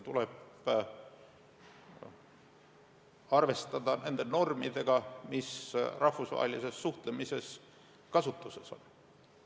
Tuleb arvestada nende normidega, mis rahvusvahelises suhtlemises kasutuses on.